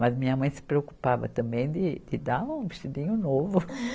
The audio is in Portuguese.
Mas minha mãe se preocupava também de, de dar um vestidinho novo.